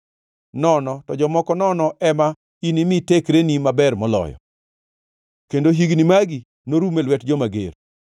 nono to jomoko nono ema inimi tekreni maber moloyo kendo higni magi norum e lwet joma ger,